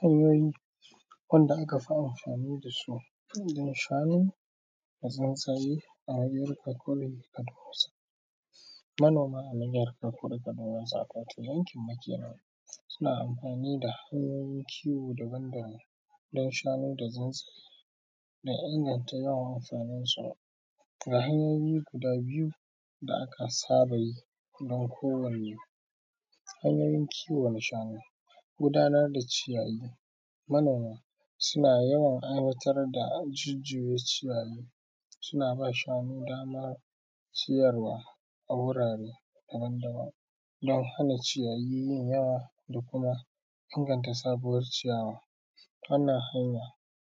Hanyoyi wanda aka fi amfani da shi don shanu da tsunsaye a Makera Kakuri Kaduna South, manoma a Makera Kakuri Kaduna South wato yankin makera suna amfani da hanyoyin kiwo daban-daban don shanu da tsunsaye da inganta yawan amfanin su, ga hanyoyi guda biyu da aka saba yi don kowane, hanyoyin kiwo na shanu, gudanar da ciyayi manoma suna yawan aiwatar da jujjuya ciyayi sun aba shanu dama ciyarwa a wurare daban-daban don hana ciyayi yin yawa da kuma inganta sabuwar ciyawa, wannan hanya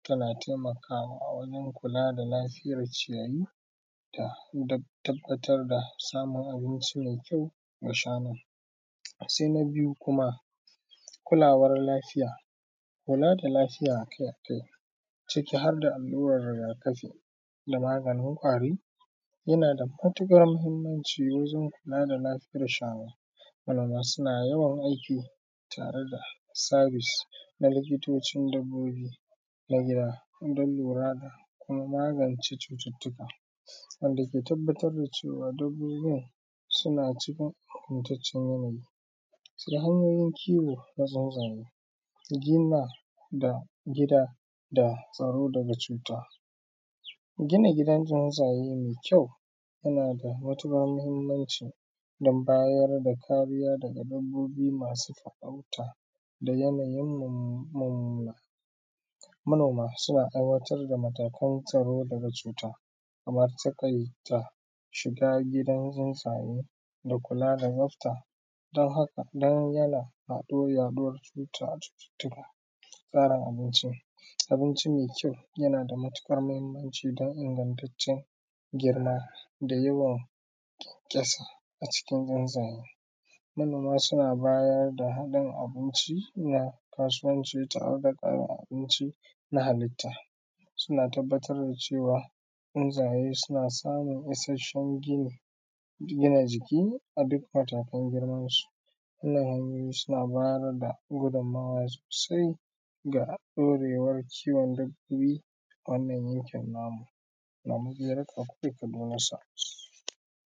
tana taimakawa wajen kula da lafiyar ciyayi da tabbatar da samun abinci mai kyau ga shanun, sai na biyu kuma kulawar lafiya, kula da lafiya akai-akai ciki har da allurar rigakafi da maganin ƙwari yana da matukar muhimmanci wajen kula da lafiyar shanu, manoma suna yawan aiki tare da service na likitocin dabbobi na gida don lura da kuma magance cututtuka wanda ke tabbatar da cewa dabbobin suna cikin ingantacen yanayi, sai hanyoyin kiwo na tsuntsaye gina gida da tsaro daga cuta, gina gidan tsuntsaye mai kyau yana da matukar muhimanci don bayar da kariya daga dabbobi masu farauta da yanayin manoma, manoma suna aiwatar da matakan tsaro daga cuta amma takaita shiga gidan tsuntsaye da kula da rafta don hana yaɗuwar cututtuka, tsare abinci, abinci mai kyau yana da matukar muhimmanci don ingantacen girma da yawan kisa a cikin tsutsaye, manoma suna bayar da haɗin abinci na kasuwanci tare da kara abinci na hallita suna tabbatar da cewa tsuntsaye suna samun isasshen gina jiki a duk matakan girmansu, wannan hanyoyi suna bayar da gudunmawa sosai ga ɗorewar kiwon dabbobi a wannan yanki namu a Makera Kakuri Kaduna South.